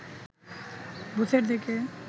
বুথের দিকে